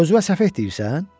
Özünə səfeh deyirsən?